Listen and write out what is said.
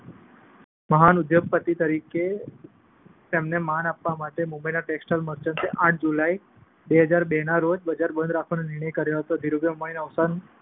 મહાન ઉદ્યોગપતિ તરીકે તેમને માન આપવા માટે મુંબઈ ટેક્સટાઈલ મર્ચન્ટ્સે આઠ જુલાઈ, બે હજાર બેના રોજ બજાર બંધ રાખવાનો નિર્ણય લીધો. ધીરુભાઈના અવસાન